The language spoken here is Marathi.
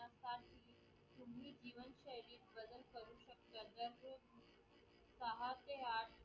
सहा ते आठ